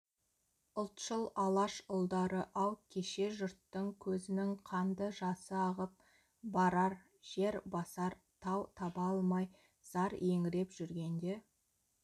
ұлтшыл алаш ұлдары-ау кеше жұрттың көзінің қанды жасы ағып барар жер басар тау таба алмай зар еңіреп жүргенде